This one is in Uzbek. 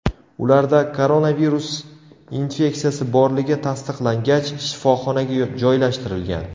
Ularda koronavirus infeksiyasi borligi tasdiqlangach, shifoxonaga joylashtirilgan.